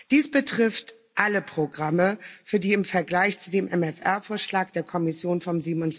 Dies betrifft alle Programme, für die im Vergleich zu dem MFR Vorschlag der Kommission vom